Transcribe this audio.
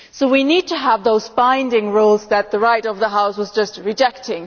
So we need to have those binding rules that the Right of the House has just rejected.